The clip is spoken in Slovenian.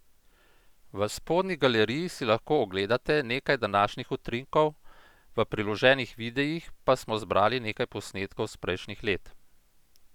V spodnji galeriji si lahko ogledate nekaj današnjih utrinkov, v priloženih videih pa smo zbrali nekaj posnetkov s prejšnjih let!